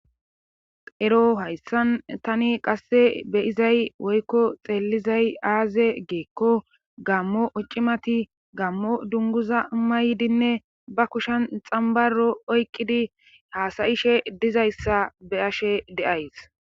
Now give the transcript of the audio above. Ero hayssan tani qasse beyizay woykko xeellizay aaze geekko gammo occimati gammo dunguza maydinne ba kushan xambaro oykkidi haasayishe dizayssa be ashe deays.